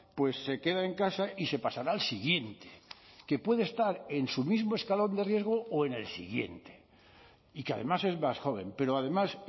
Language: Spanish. pues se queda en casa y se pasará al siguiente que puede estar en su mismo escalón de riesgo o en el siguiente y que además es más joven pero además